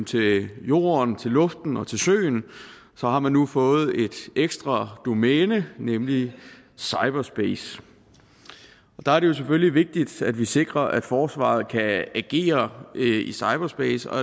til jorden til luften og til søen har man nu fået et ekstra domæne nemlig cyberspace og der er det jo selvfølgelig vigtigt at vi sikrer at forsvaret kan agere i cyberspace og